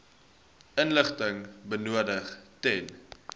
inligting benodig ten